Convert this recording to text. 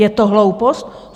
Je to hloupost?